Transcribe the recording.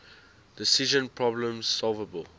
decision problems solvable